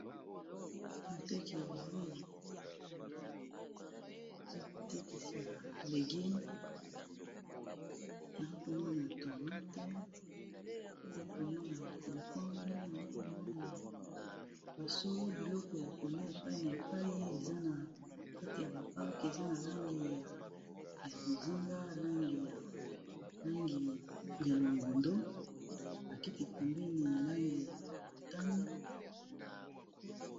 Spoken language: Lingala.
moteki bilei eza kotekisa legume naa komona tomate naa komona ba concombe naa komona basolo biloko ya kole epai na epai eza na kati ya baparke eza na langi ya bozinga langi langi ya longondo bakiti pembeni langi ya motani